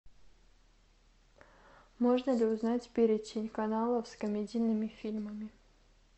можно ли узнать перечень каналов с комедийными фильмами